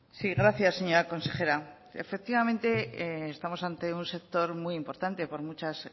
sí gracias señora consejera efectivamente estamos ante un sector muy importante por muchas